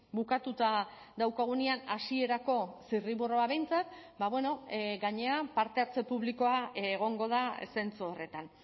bukatuta daukagunean hasierako zirriborroa behintzat ba bueno gainera parte hartze publikoa egongo da zentzu horretan